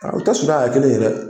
Aa u tɛ suruya ka kɛ kelen ye yɛrɛ.